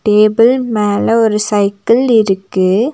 Table மேல ஒரு cycle இருக்கு.